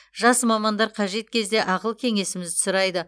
жас мамандар қажет кезде ақыл кеңесімізді сұрайды